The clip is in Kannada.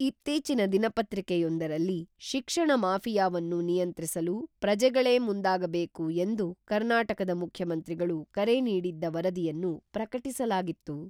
ಇತ್ತೀಚಿನ ದಿನಪತ್ರಿಕೆಯೊಂದರಲ್ಲಿ ಶಿಕ್ಷಣ ಮಾಫಿಯಾವನ್ನು ನಿಯಂತ್ರಿಸಲು ಪ್ರಜೆಗಳೇ ಮುಂದಾಗಬೇಕು ಎಂದು ಕರ್ನಾಟಕದ ಮುಖ್ಯಮಂತ್ರಿಗಳು ಕರೆ ನೀಡಿದ್ದ ವರದಿಯನ್ನು ಪ್ರಕಟಿಸಲಾಗಿತ್ತು.